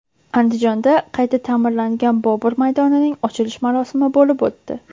Andijonda qayta ta’mirlangan Bobur maydonining ochilish marosimi bo‘lib o‘tdi.